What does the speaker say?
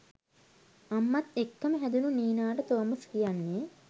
අම්මත් එක්කම හැදුණු නීනාට ‍තෝමස් කියන්නේ